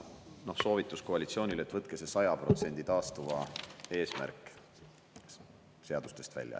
Ja soovitus koalitsioonile: võtke see 100% taastuva eesmärk seadustest välja.